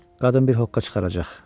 Qadın bir hoqqa çıxaracaq.